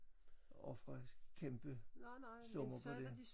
Ofre kæmpe summer på det